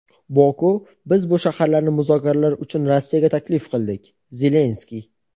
Boku biz bu shaharlarni muzokaralar uchun Rossiyaga taklif qildik - Zelenskiy.